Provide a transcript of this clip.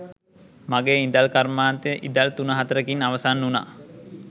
මගේ ඉදල් කර්මාන්තෙ ඉදල් තුන හතරකින් අවසන් උනා.